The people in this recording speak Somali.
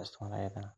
u fican in lagu aburo.